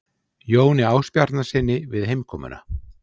Jóni Ásbjarnarsyni við heimkomuna.